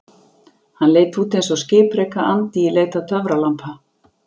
Hann leit út eins og skipreika andi í leit að töfralampa.